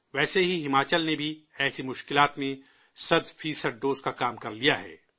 ویسے ہی، ہماچل نے بھی ایسی مشکلات میں سو فیصد ڈوز کا کام کر لیا ہے